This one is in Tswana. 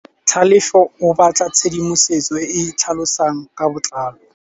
Tlhalefô o batla tshedimosetsô e e tlhalosang ka botlalô.